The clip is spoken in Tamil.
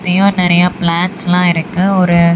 இங்கெயு நெறைய ப்ளான்ட்ஸ்லா இருக்கு ஒரு--